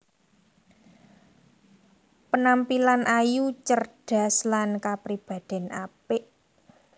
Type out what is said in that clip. Penampilan ayu cerdas lan kapribadèn apik